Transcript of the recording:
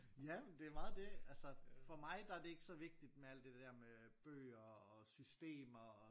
Ja men det er meget det altså for mig der det ikke så vigtigt det der med bøger og systemer og